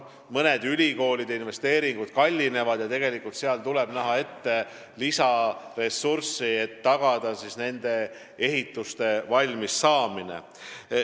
Mõned ülikoolide investeeringud kallinevad aga seetõttu, et tuleb ette näha lisaressurss ehitiste valmimise tagamiseks.